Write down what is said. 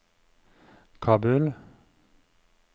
Kabul